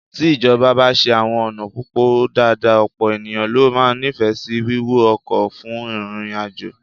Tí ìjọba bá ṣe àwọn ọ̀nà pópó dáadáa, ọ̀pọ̀ ènìyàn ló máa nífẹ̀ẹ́ sí wíwọ ọkọ̀ fún ìrìnàjò